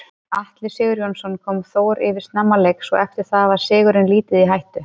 Atli Sigurjónsson kom Þór yfir snemma leiks og eftir það var sigurinn lítið í hættu.